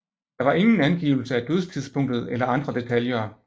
Der var ingen angivelse af dødstidspunktet eller andre detaljer